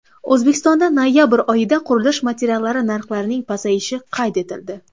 O‘zbekistonda noyabr oyida qurilish materiallari narxlarining pasayishi qayd etildi.